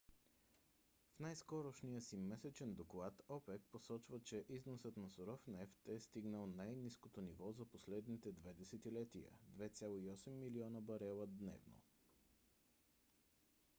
в най-скорошния си месечен доклад опек посочва че износът на суров нефт е стигнал най-ниското ниво за последните две десетилетия - 2,8 милиона барела дневно